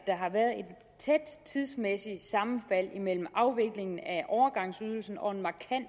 tæt tidsmæssigt sammenfald imellem afviklingen af overgangsydelsen og en